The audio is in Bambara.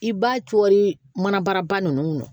I b'a cɔri mana ba ninnu kɔnɔ